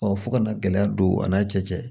fo ka na gɛlɛya don a n'a cɛ cɛ